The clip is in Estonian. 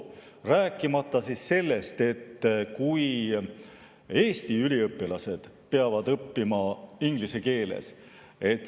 Rääkimata sellest, et Eesti üliõpilased peavad õppima inglise keeles.